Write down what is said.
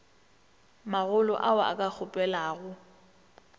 magolo ao a ka kgopelago